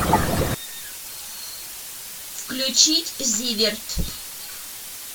включить зиверт